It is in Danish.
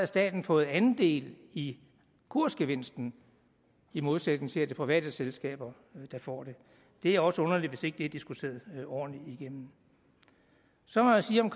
staten fået andel i kursgevinsten i modsætning til at det er private selskaber der får det det er også underligt hvis ikke det er diskuteret ordentligt igennem så må jeg sige om